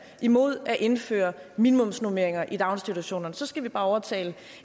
imod at indføre minimumsnormeringer i daginstitutionerne så skal vi bare overtale